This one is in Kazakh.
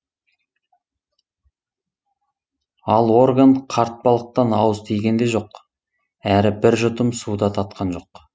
ал орган қарт балықтан ауыз тиген де жоқ әрі бір жұтым су да татқан жоқ